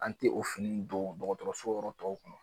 An te o fini in don dɔgɔtɔrɔso yɔrɔ tɔw kɔnɔ